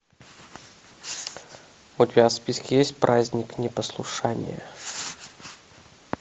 у тебя в списке есть праздник непослушания